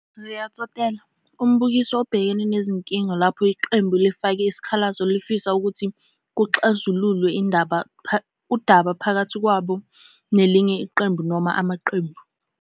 Rea Tsotella - Umbukiso obhekene nezinkinga lapho iqembu elifake isikhalazo lifisa ukuthi kuxazululwe udaba phakathi kwabo nelinye iqembu noma amaqembu.